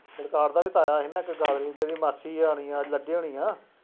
ਬਲਕਾਰ ਦਾ ਵੀ ਤਾਇਆ ਸੀ ਨਾ ਇੱਕ ਜਿਹਦੀ ਮਾਸੀ ਆਉਣੀ ਆ, ਲੱਗੀ ਹੋਣੀ ਹੈ,